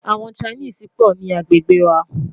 àwọn Chinese gbó ní agbègbè wà